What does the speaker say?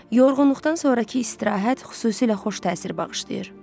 Yorğunluqdan sonrakı istirahət xüsusilə xoş təsir bağışlayır.